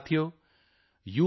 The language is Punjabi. ਸਾਥੀਓ ਯੂ